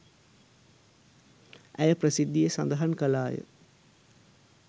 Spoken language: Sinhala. ඇය ප්‍රසිද්ධියේ සදහන් කළාය.